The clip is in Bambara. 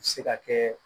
Se ka kɛ